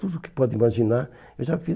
Tudo que pode imaginar, eu já fiz.